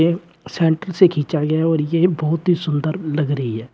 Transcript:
ये सेंटर से खींचा गया है और ये बहुत ही सुंदर लग रही है।